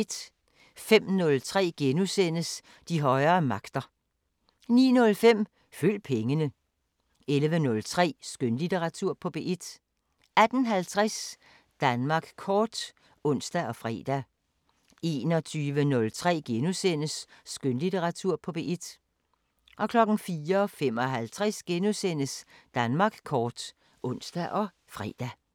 05:03: De højere magter * 09:05: Følg pengene 11:03: Skønlitteratur på P1 18:50: Danmark kort (ons og fre) 21:03: Skønlitteratur på P1 * 04:55: Danmark kort *(ons og fre)